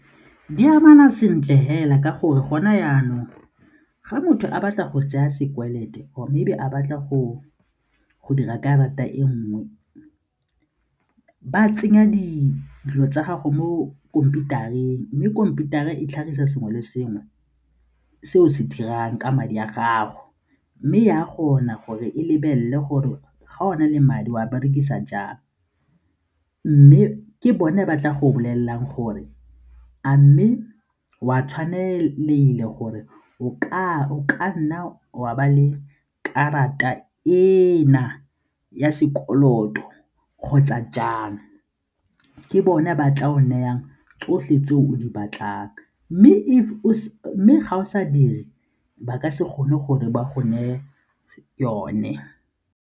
Di amana sentle fela ka gore gona jaanong ga motho a batla go tseya sekolote mme ebe a batla go dira karata e nngwe ba tsenya dilo tsa gago mo khomputareng mme khomputara e tlhagisa sengwe le sengwe se o se dirang ka madi a gago mme e a kgona gore e lebelele gore ga o na le madi a berekisa jang. Mme ke bone ba tla go bolelelang gore a mme o a gore o ka nna wa ba le karata ena ya sekoloto kgotsa jang, ke bone ba tla o nayang tsotlhe tse o di batlang mme ga o sa dire ba ka se kgone gore ba go neye yone.